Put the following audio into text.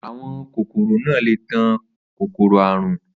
Àwọn kòkòro náà le tan kòkòrò àrùn.